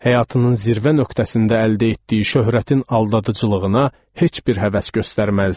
Həyatının zirvə nöqtəsində əldə etdiyi şöhrətin aldadıcılığına heç bir həvəs göstərməzdi.